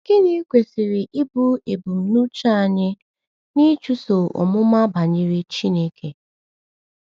Gịnị kwesịrị ịbụ ebumnuche anyị n’ịchụso ọmụma banyere Chineke?